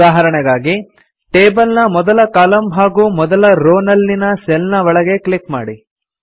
ಉದಾಹರಣೆಗಾಗಿ ಟೇಬಲ್ ನ ಮೊದಲ ಕಾಲಮ್ ಹಾಗೂ ಮೊದಲ ರೋ ನಲ್ಲಿನ ಸೆಲ್ ನ ಒಳಗೆ ಕ್ಲಿಕ್ ಮಾಡಿ